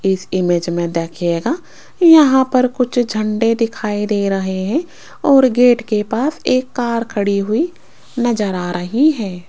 इस इमेज में देखिएगा यहां पर कुछ झंडे दिखाई दे रहे है और गेट के पास एक कार खड़ी हुई नजर आ रही है।